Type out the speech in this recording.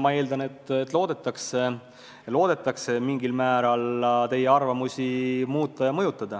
ma eeldan, et loodetakse mingil määral teie arvamusi muuta ja mõjutada.